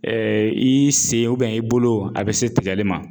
Ɛɛ i se i bolo a be se tigɛli ma.